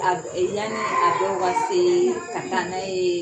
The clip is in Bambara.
Aa e yani a denw ka seee ka taa na yeee